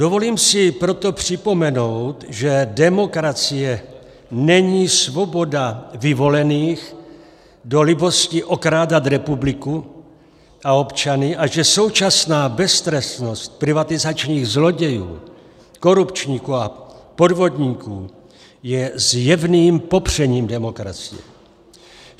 Dovolím si proto připomenout, že demokracie není svoboda vyvolených do libosti okrádat republiku a občany a že současná beztrestnost privatizačních zlodějů, korupčníků a podvodníků je zjevným popřením demokracie.